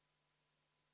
Toomas, kas sa mäletad?